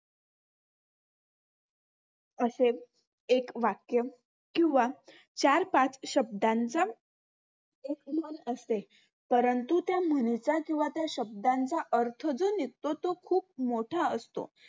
असे एक वाक्य किंवा चार-पाच शब्दांचा एक म्हण असते. परंतु त्या म्हणीचा किंवा त्या शब्दांचा अर्थ जो निघतो तो खूप मोठा असतो.